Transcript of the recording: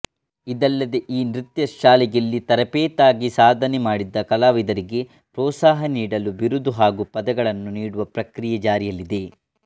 ಇದಲ್ಲದೆ ಈ ನೃತ್ಯಶಾಲೆಯಲ್ಲಿ ತರಪೇತಾಗಿ ಸಾಧನೆಮಾಡಿದ ಕಲಾವಿದರಿಗೆ ಪ್ರೋತ್ಸಾಹನೀಡಲು ಬಿರುದು ಹಾಗೂ ಪದಕಗಳನ್ನು ನೀಡುವ ಪ್ರಕ್ರಿಯೆ ಜಾರಿಯಲ್ಲಿದೆ